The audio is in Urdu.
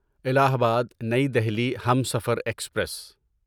الہ آباد نئی دہلی ہمسفر ایکسپریس